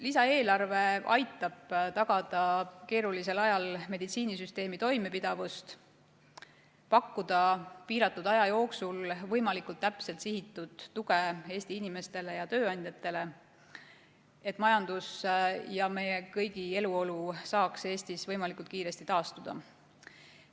Lisaeelarve aitab tagada keerulisel ajal meditsiinisüsteemi toimepidevust, pakkuda piiratud aja jooksul võimalikult täpselt sihitud tuge Eesti inimestele ja tööandjatele, et majandus ja meie kõigi eluolu saaks Eestis võimalikult kiiresti taastuda.